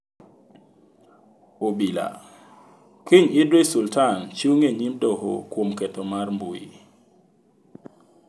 Obila: Kiny Idris Sultan chung' e nyim doho kuom ketho mar mbui.